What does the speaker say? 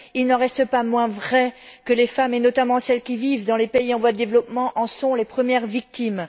Il n'en reste pas moins vrai que les femmes, et notamment celles qui vivent dans les pays en voie de développement, en sont les premières victimes.